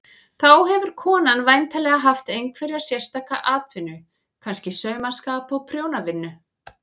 Þá hefur konan væntanlega haft einhverja sérstaka atvinnu, kannski saumaskap og prjónavinnu.